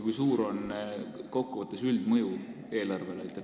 Kui suur on kokkuvõttes üldmõju eelarvele?